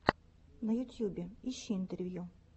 на ютубе ищи интервью